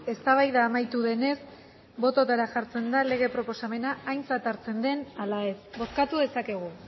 eztabaida amaitu denez bototara jartzen da lege proposamena aintzat hartzen den ala ez bozkatu dezakegu